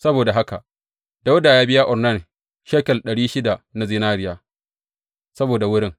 Saboda haka Dawuda ya biya Ornan shekel ɗari shida na zinariya saboda wurin.